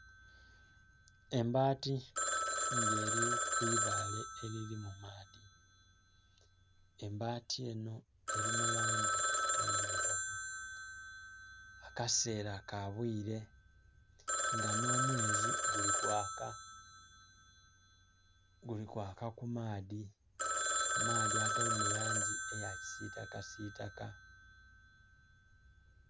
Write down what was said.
Embaati nga eli ku ibaale elili mu maadhi. Embaati enho eli mu langi oti ndhilugavu, akaseela ka bwile nga nh'omwezi guli kwaka, guli kwaka ku maadhi, amaadhi agali mu langi oti ya kisiitakasiitaka.